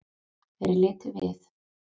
Þeir litu við.